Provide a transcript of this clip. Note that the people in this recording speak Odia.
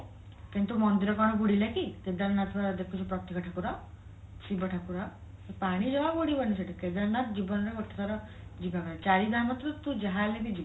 କିନ୍ତୁ ମନ୍ଦିର କଣ ବୁଡିଲାକି କେଦାରନାଥ ପା ଦେଖୁଛୁ ପ୍ରତ୍ୟକ୍ଷ ଠାକୁର ଶିବ ଠାକୁର ସେ ପାଣି ଜମା ବୁଡିବନି ସେଠି କେଦାରନାଥ ଜୀବନରେ ଗୋଟେ ଥର ଯିବା କଥା ଚାରି ଧାମ କୁ ତୁ ଯାହା ହେଲେ ବି ଯିବୁ